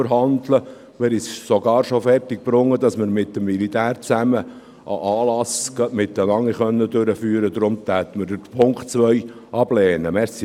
Wir haben es sogar schon fertiggebracht, dass wir gemeinsam mit dem Militär einen Anlass durchführen konnten.